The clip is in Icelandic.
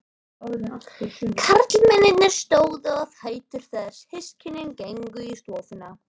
Karlmennirnir stóðu á fætur þegar systkinin gengu í stofuna.